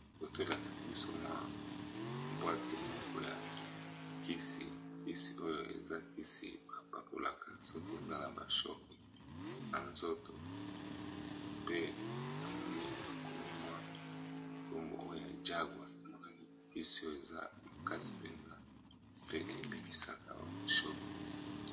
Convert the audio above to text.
Photo elakisi biso mwa boite moko ya kisi, kisi oyo eza kisi bapapolaka soki eza na ba shoc na nzoto pe na moni bakomi mwa kombo oyo ya Jaguar namoni kisi oyo eza makasi mpene pe ebikisaka shoc.